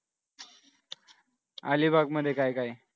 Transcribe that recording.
अलिबाग मध्ये काय काय आहे?